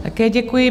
Také děkuji.